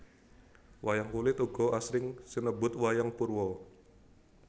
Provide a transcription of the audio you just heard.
Wayang kulit uga asring sinebut wayang purwa